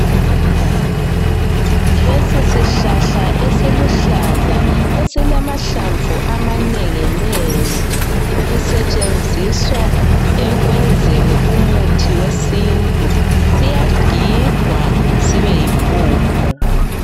Lesi sihlahla esiluhlaza esilamahlamvu amanenginengi sisetshenziswa ekwenzeni umuthi wesintu siyagigwa sibe yimpuphu.